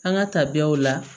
An ka tabiyaw la